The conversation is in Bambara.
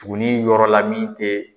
Tugunnin yɔrɔ la min tɛ